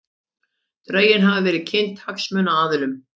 Drögin hafa verið kynnt hagsmunaaðilum